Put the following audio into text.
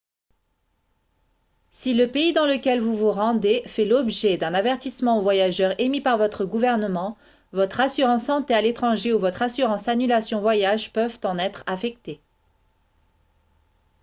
si le pays dans lequel vous vous rendez fait l'objet d'un avertissement aux voyageurs émis par votre gouvernement votre assurance santé à l'étranger ou votre assurance annulation voyage peuvent en être affectées